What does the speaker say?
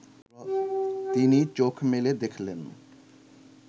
তিনি চোখ মেলে দেখলেন